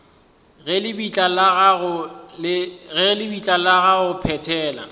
ga lebitla la go phethela